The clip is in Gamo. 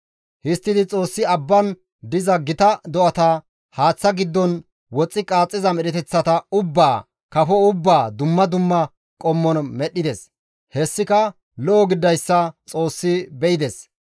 Histtidi Xoossi abban diza gita do7ata, haaththa giddon woxxi qaaxxiza medheteththata ubbaa, kafo ubbaa dumma dumma qommon medhdhides. Hessika lo7o gididayssa Xoossi be7ides.